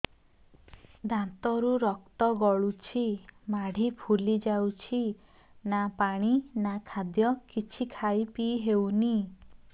ଦାନ୍ତ ରୁ ରକ୍ତ ଗଳୁଛି ମାଢି ଫୁଲି ଯାଉଛି ନା ପାଣି ନା ଖାଦ୍ୟ କିଛି ଖାଇ ପିଇ ହେଉନି